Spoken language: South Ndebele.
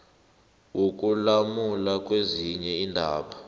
wokulamula kezinye iindaba